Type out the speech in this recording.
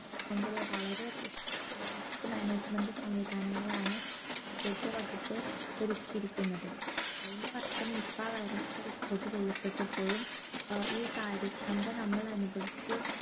അടച്ചുകൊണ്ടുള്ള വളരെ ഏർ risk management സംവിദാനങ്ങളാണ് ആരോഗ്യവകുപ്പ് ഒരുക്കിയിരിക്കുന്നത് കഴിഞ്ഞ വർഷം nipah virus report ചെയ്യപ്പെട്ടപ്പോഴും ഈ കാര്യക്ഷമത നമ്മൾ അനുഭവിച്ചു